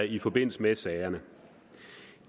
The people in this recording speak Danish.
i forbindelse med sagerne